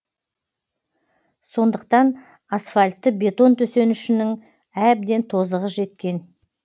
сондықтан асфальтты бетон төсенішінің әбден тозығы жеткен